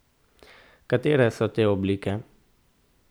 Katere so te oblike?